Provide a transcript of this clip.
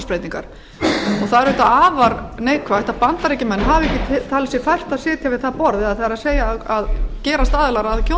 það er auðvitað afar neikvætt að bandaríkjamenn hafi ekki talið sér fært að sitja við það borð það er að gerast aðilar að